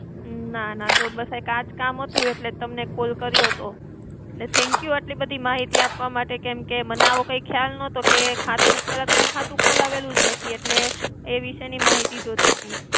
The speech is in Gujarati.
ના ના. જો બસ એક આજ કામ હતું એટલે તમને call કર્યોતો. ને thank you આટલી બધી માહિતી આપવા માટે, કેમકે મને આવો કંઈ ખ્યાલ નતો કે, ખાતું, પેલા તો મેં ખાતું ખોલાવેલું જ નથી એટલે એ વિષયની માહિતી જોતી હતી.